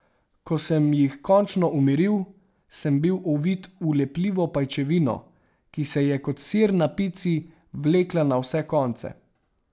Ko sem jih končno umiril, sem bil ovit v lepljivo pajčevino, ki se je kot sir na pici, vlekla na vse konce.